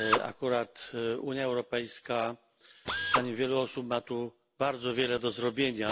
Akurat Unia Europejska zdaniem wielu osób ma tu bardzo wiele do zrobienia.